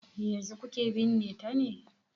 Yanzu kuke binne ta ne?